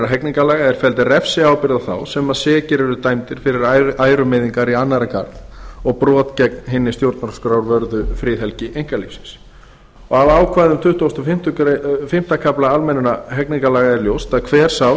hegningarlaga er felld refsiábyrgð á þá sem sekir eru dæmdir fyrir ærumeiðingar í annarra garð og brot gegn hinni stjórnarskrárvörðu friðhelgi einkalífsins af ákvæðum tuttugasta og fimmta kafla almennra hegningarlaga er ljóst að hver sá